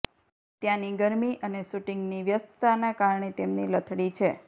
ત્યાંની ગરમી અને શૂટિંગની વ્યસ્તતાના કારણે તેમની લથડી છે